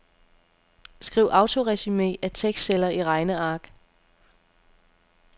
Skriv autoresumé af tekstceller i regneark.